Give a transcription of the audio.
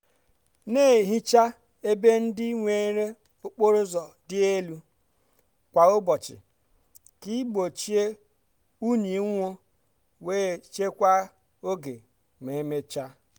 na-ehicha ebe ndị nwere okporo ụzọ dị elu kwa ụbọchị ka igbochi unyi nwuo wee chekwaa oge ma emechaa.